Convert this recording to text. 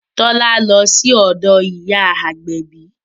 Tọ́lá lọ sí ọ̀dọ̀ ìyá agbẹ̀bí